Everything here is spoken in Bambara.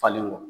Falen wa